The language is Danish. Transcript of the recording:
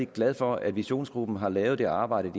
glad for at visionsgruppen har lavet det arbejde